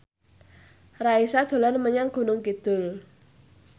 Raisa dolan menyang Gunung Kidul